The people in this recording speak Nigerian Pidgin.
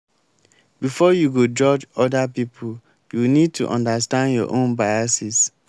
before you go judge oda pipo you need to understand your own biases